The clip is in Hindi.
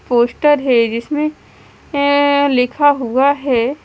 पोस्टर है जिसमे ऐ लिखा हुआ है--